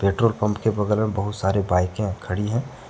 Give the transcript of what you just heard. Petrol pump के बगल में बहुत सारे बाइकें खड़ी हैं।